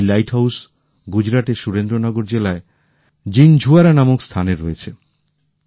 এই লাইটহাউস গুজরাটের সুরেন্দ্রনগর জেলায় জিনঝুয়াড়ায় রয়েছে